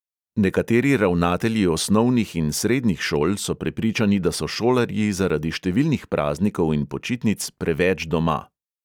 Nekateri ravnatelji osnovnih in srednjih šol so prepričani, da so šolarji zaradi številnih praznikov in počitnic preveč doma.